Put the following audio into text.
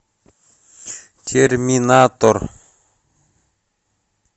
терминатор